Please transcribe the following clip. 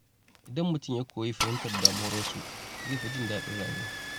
Idan mutum ya koyi fahimtar damuwar wasu, zai fi jin daɗin rayuwa.